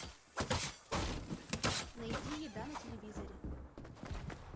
найди еда на телевизоре